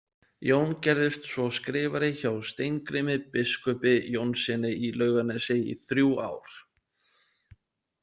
Jón gerðist svo skrifari hjá Steingrími biskupi Jónssyni í Laugarnesi í þrjú ár.